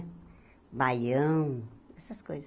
Baião, essas coisas.